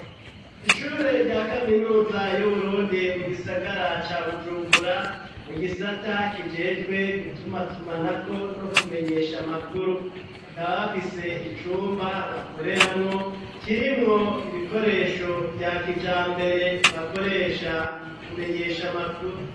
Ishure rya kaminuza y'Uburundi, mu gisagara ca Bujumbura, mu gisata kijejwe gutumatumanako no kumenyesha amakuru, bakaba bafise icumba bakoreramwo kirimwo ibikoresho vya kijambere bakoresha mu kumenyesha amakuru.